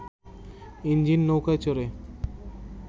engine নৌকায় চড়ে